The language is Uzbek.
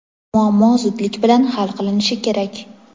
Muammo zudlik bilan hal qilinishi kerak.